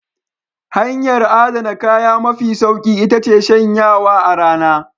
Hanyar adana kaya mafi sauki iya ce shanyawa a rana.